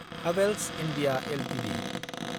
Havells India Ltd